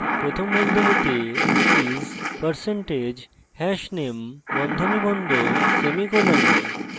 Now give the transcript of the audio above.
sort প্রথম বন্ধনীতে keys % hashname বন্ধনী বন্ধ semicolon